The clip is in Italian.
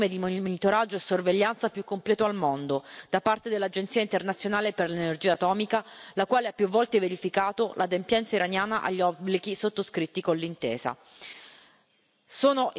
L'Iran è stato sottoposto al regime di monitoraggio e sorveglianza più completo al mondo da parte dell'Agenzia internazionale per l'energia atomica, la quale ha più volte verificato l'adempienza iraniana agli obblighi sottoscritti con l'intesa.